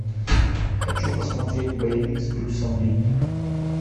хочу посмотреть боевик с брюсом ли